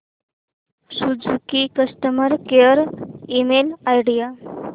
Suzuki customer care email ID